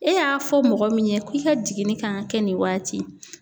E y'a fɔ mɔgɔ min ye ku i ka jiginni kan ka kɛ nin waati.